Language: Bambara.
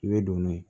I bɛ don n'o ye